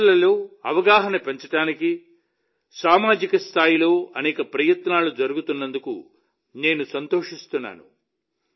ఓటర్లలో అవగాహన పెంచడానికి సమాజ స్థాయిలో అనేక ప్రయత్నాలు జరుగుతున్నందుకు నేను సంతోషిస్తున్నాను